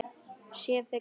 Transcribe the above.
Ég sé þig fyrir mér.